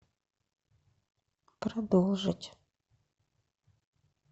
продолжить